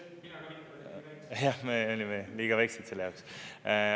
Jah, me liiga väikesed selle jaoks.